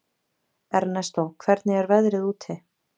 Ernestó, hvernig er veðrið úti?